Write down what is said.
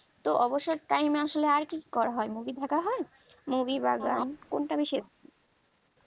তো অবসর time এ আর কি করা হয় movie দেখা হয় movie বা গান কোনটা বেশি